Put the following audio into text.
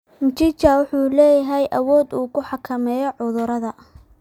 Mchicha wuxuu leeyahay awood uu ku xakameeyo cudurada.